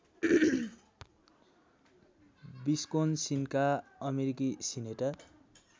विस्कोन्सिनका अमेरिकी सिनेटर